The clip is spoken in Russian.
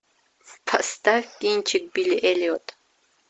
поставь кинчик билли эллиот